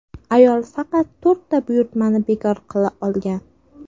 Ayol faqat to‘rtta buyurtmani bekor qila olgan.